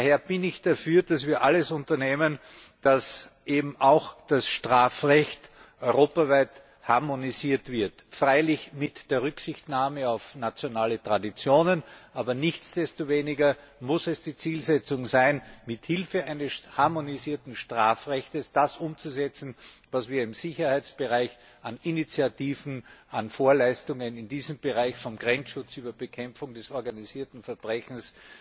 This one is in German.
Daher bin ich dafür, dass wir alles unternehmen, damit eben auch das Strafrecht europaweit harmonisiert wird freilich mit Rücksichtnahme auf nationale Traditionen, aber nichtsdestoweniger muss es die Zielsetzung sein, mithilfe eines harmonisierten Strafrechts das umzusetzen, was wir im Sicherheitsbereich an Initiativen, an Vorleistungen in diesem Bereich vom Grenzschutz über die Bekämpfung des organisierten Verbrechens